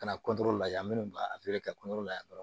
Ka na lajɛ minnu b'a la yan dɔrɔn